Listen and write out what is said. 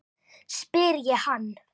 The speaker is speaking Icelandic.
spyr ég hann.